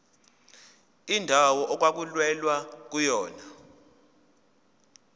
indawo okwakulwelwa kuyona